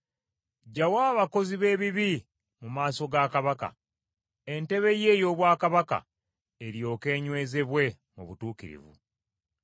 Ggyawo abakozi b’ebibi mu maaso ga kabaka, entebe ye ey’obwakabaka eryoke enywezebwe mu butuukirivu.